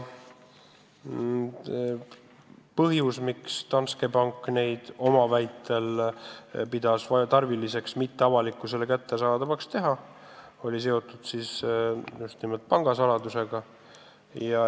Põhjus, miks Danske pank pidas tarviliseks neid avalikkusele kättesaadavaks mitte teha, on seotud nimelt pangasaladusega.